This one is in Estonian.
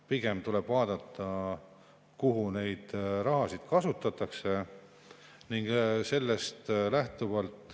Pigem tuleb vaadata, kuidas raha kasutatakse.